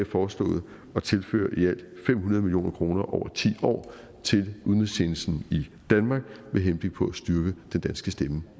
foreslået at tilføre i alt fem hundrede million kroner over ti år til udenrigstjenesten i danmark med henblik på at styrke den danske stemme